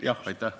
Jah, aitäh!